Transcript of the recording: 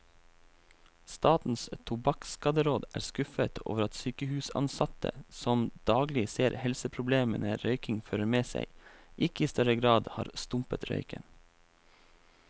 Statens tobakkskaderåd er skuffet over at sykehusansatte, som daglig ser helseproblemene røykingen fører med seg, ikke i større grad har stumpet røyken.